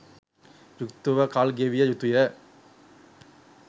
යුක්තව කල් ගෙවිය යුතුය.